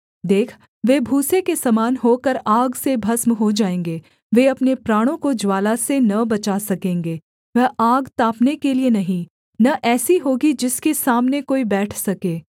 देख वे भूसे के समान होकर आग से भस्म हो जाएँगे वे अपने प्राणों को ज्वाला से न बचा सकेंगे वह आग तापने के लिये नहीं न ऐसी होगी जिसके सामने कोई बैठ सके